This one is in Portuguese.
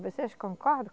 Vocês concordam?